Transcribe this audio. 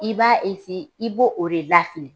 I b'a esi i b'o o de lafili.